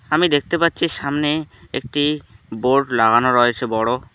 আমি দেখতে পাচ্ছি সামনে একটি বোর্ড লাগানো রয়েছে বড়।